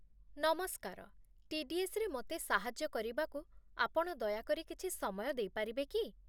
ନମସ୍କାର, ଟି.ଡି.ଏସ୍.ରେ ମୋତେ ସାହାଯ୍ୟ କରିବାକୁ ଆପଣ ଦୟାକରି କିଛି ସମୟ ଦେଇପାରିବେ କି?